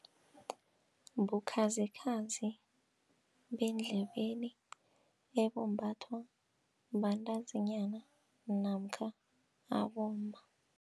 Bukhazikhazi bendlebeni ebumbathwa bantazinyana namkha abomma.